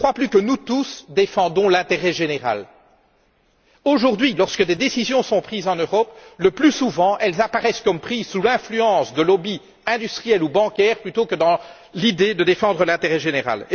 Ils ne croient plus que nous tous défendons l'intérêt général. Aujourd'hui, lorsque des décisions sont prises en Europe, elles apparaissent le plus souvent comme étant prises sous l'influence de lobbies industriels ou bancaires plutôt que dans l'idée de défendre l'intérêt général.